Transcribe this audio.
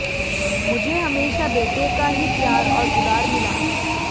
मुझे हमेशा बेटे का ही प्यार और दुलार मिला